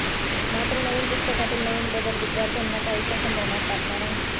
मात्र नवीन पुस्तकातील नवीन बदल विद्यार्थ्यांना काहीसा संभ्रमात टाकणार आहे